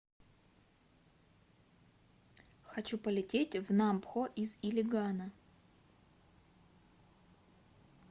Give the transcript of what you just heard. хочу полететь в нампхо из илигана